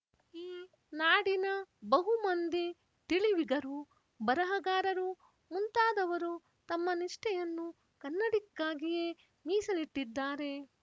ಈ ನಾಡಿನ ಬಹುಮಂದಿ ತಿಳಿವಿಗರು ಬರಹಗಾರರು ಮುಂತಾದವರು ತಮ್ಮ ನಿಷ್ಠೆಯನ್ನು ಕನ್ನಡಿಕಾಗಿಯೇ ಮೀಸಲಿಟ್ಟಿದ್ದಾರೆ